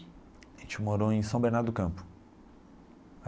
A gente morou em São Bernardo do Campo.